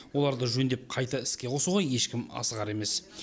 оларды жөндеп қайта іске қосуға ешкім асығар емес